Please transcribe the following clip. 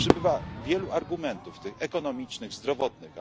Przybywa wielu argumentów, tych ekonomicznych, zdrowotnych.